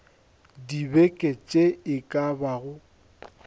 dibeke tše e ka bago